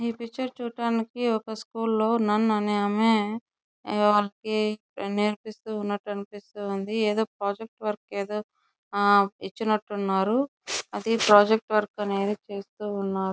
ఈ పిక్చర్ చూడటానికి ఒక స్కూల్ లో నన్ అనే ఆమె వాళ్ళకి నేర్పిస్తు ఉన్నట్టు అనిపిస్తుంది ఏదో ప్రాజెక్ట్ వర్క్ ఏదో ఆ ఇచ్చినట్టు ఉన్నారు అది ప్రాజెక్ట్ వర్క్ అనేది చేస్తూ ఉన్నారు.